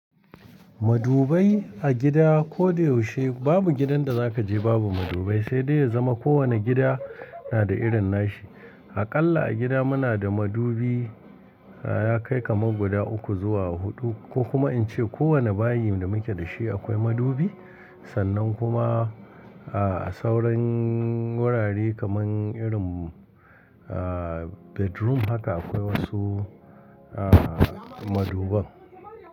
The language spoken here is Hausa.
Madubai a gida ko da yaushe babu gidan da zaka je babu madubai, sai dai ya zama kowane gida yana da irin nashi. Aƙalla a gida muna da madubi, ya kai kamar guda uku zuwa huɗu ko kuma in ce kowane bayi da muke da shi akwai madubi. Sannan kuma a sauran wurare kamar irin aa bedroom haka akwai wasu aa maduban.